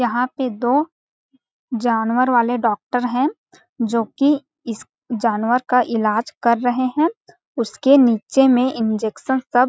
यहाँ पे दो जानवर वाले डॉक्टर है जो कि इस जानवर का इलाज कर रहे है उसके नीचे में इंजेक्शन सब--